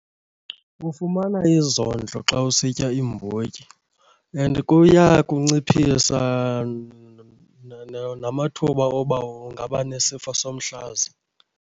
Ufumana izondlo xa usitya iimbotyi and kuya kunciphisa namathuba oba ungaba nesifo somhlaza.